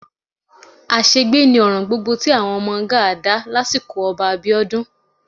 Àṣegbé ni ọ̀ràn gbogbo tí àwọn ọmọ Gáà dá lásìkò Ọba Abíọ́dún